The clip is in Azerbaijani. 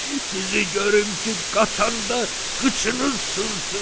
Sizi görüm ki, qaçanda qıçınız sının.